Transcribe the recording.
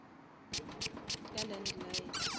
ka landline